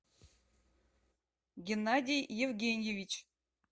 геннадий евгеньевич